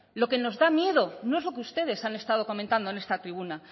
lo que nos da miedo no es lo que ustedes han estado comentando en esta tribuna